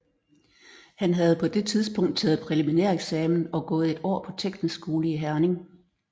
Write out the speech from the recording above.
Han havde på det tidspunkt taget præliminæreksamen og gået et år på teknisk skole i Herning